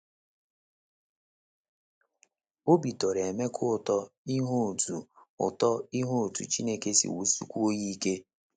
Obi tọrọ Emeka ụtọ ịhụ otú ụtọ ịhụ otú Chineke si wusikwuo ya ike.